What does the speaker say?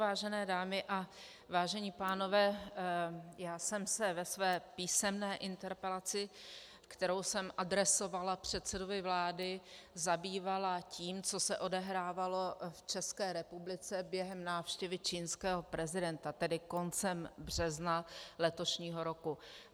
Vážené dámy a vážení pánové, já jsem se ve své písemné interpelaci, kterou jsem adresovala předsedovi vlády, zabývala tím, co se odehrávalo v České republice během návštěvy čínského prezidenta, tedy koncem března letošního roku.